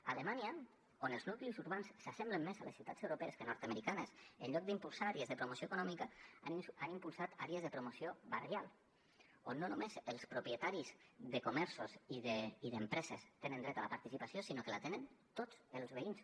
a alemanya on els nuclis urbans s’assemblen més a les ciutats europees que a nord americanes en lloc d’impulsar àrees de promoció econòmica han impulsat àrees de promoció barrial on no només els propietaris de comerços i d’empreses tenen dret a la participació sinó que en tenen tots els veïns